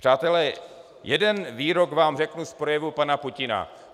Přátelé, jeden výrok vám řeknu z projevu pana Putina.